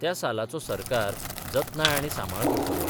त्या सालाचो सरकार जतनाय आनी सांबाळ करतलो.